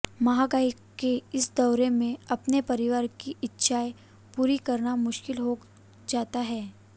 महंगाई के इस दौर में अपने परिवार की इच्छाएं पूरी करना मुश्किल हो जाता है